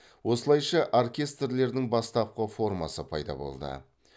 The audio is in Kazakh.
осылайша оркестрлердің бастапқы формасы пайда болды